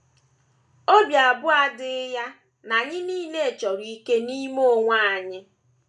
Obi abụọ adịghị ya na anyị nile chọrọ “ ike n’ime Onyenwe anyị. ”